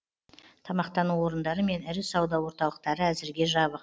тамақтану орындары мен ірі сауда орталықтары әзірге жабық